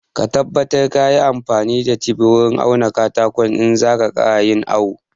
Ka tabbata ka yi amfani da tef wurin auna katakon in za ka ƙara yin awo